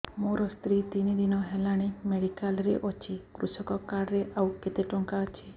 ମୋ ସ୍ତ୍ରୀ ତିନି ଦିନ ହେଲାଣି ମେଡିକାଲ ରେ ଅଛି କୃଷକ କାର୍ଡ ରେ ଆଉ କେତେ ଟଙ୍କା ଅଛି